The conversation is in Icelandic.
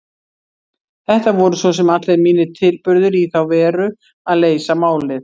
Þetta voru svo sem allir mínir tilburðir í þá veru að leysa málið.